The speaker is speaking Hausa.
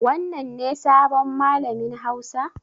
Wannan ne sabon malamin hausa?